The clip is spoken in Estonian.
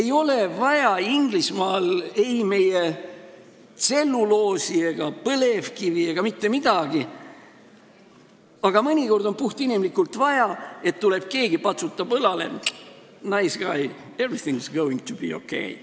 Inglismaal ei ole vaja ei meie tselluloosi ega põlevkivi ega mitte midagi, aga mõnikord on puhtinimlikult vaja, et keegi tuleb ja patsutab õlale: "Nice guy, everything is going to be okay.